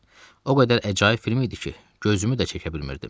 O qədər əcaib film idi ki, gözümü də çəkə bilmirdim.